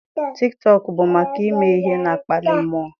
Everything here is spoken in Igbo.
Tiktọk bụ maka ime ihe na-akpali mmụọ.